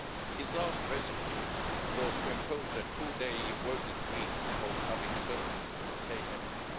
His last recipe was to impose a two day working week for public servants to save energy.